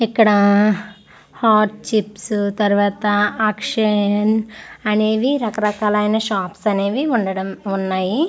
ఇక్కడ ఆఆ hot chips తరువాత అక్షయన్ అనేవి రకరక లైన షాప్స్ అనేవి ఉండడం ఉన్నాయి .]